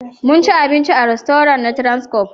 Mun ci abinci a rastoran na transcorp